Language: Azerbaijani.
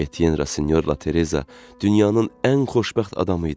Etyen Rasinyorla Tereza dünyanın ən xoşbəxt adamı idi.